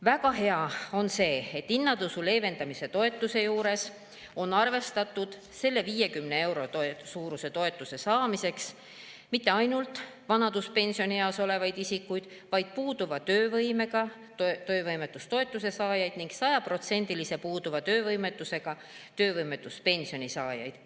Väga hea on see, et hinnatõusu leevendamise toetuse juures ei ole arvestatud selle 50 euro suuruse toetuse saamiseks mitte ainult vanaduspensionieas olevaid isikuid, vaid on arvestatud ka puuduva töövõimega inimesi, töövõimetustoetuse saajaid ning sajaprotsendilise puuduva töövõimetusega töövõimetuspensioni saajaid.